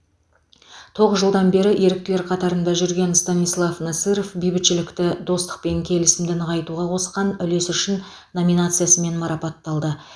тоғыз жылдан бері еріктілер қатарында жүрген станислав насыров бейбітшілікті достық пен келісімді нығайтуға қосқан үлесі үшін номинациясымен марапатталды